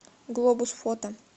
глобус фото